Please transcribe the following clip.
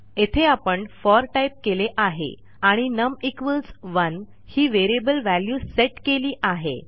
येथे आपण Forटाईप केले आहे आणि num1 ही व्हेरिएबल व्हॅल्यू सेट केली आहे